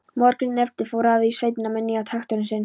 Morguninn eftir fór afi í sveitina með nýja traktorinn sinn.